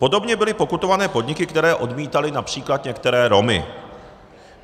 Podobně byly pokutované podniky, které odmítaly například některé Romy.